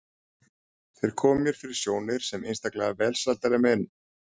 Þeir komu mér fyrir sjónir sem einstaklega velsældarlegir menn.